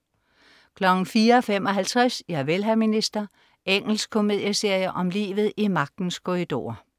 04.55 Javel, hr. minister. Engelsk komedieserie om livet i magtens korridorer